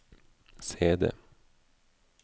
CD